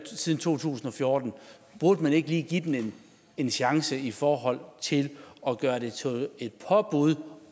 siden to tusind og fjorten så burde man ikke lige give den en chance i forhold til at gøre det til et påbud